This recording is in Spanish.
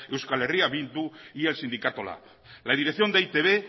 eh bildu y el sindicato lab la dirección de e i te be